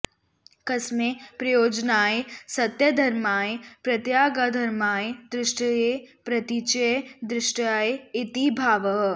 कस्मै प्रयोजनाय सत्यधर्माय प्रत्यगात्मधर्माय दृष्टये प्रतीच्यै दृष्टय इति भावः